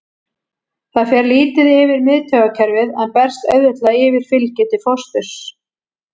Það fer lítið yfir í miðtaugakerfið en berst auðveldlega yfir fylgju til fósturs.